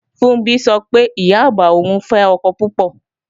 Funbí sọ pé, Ìyá-àgbà òun fẹ́ ọkọ púpọ̀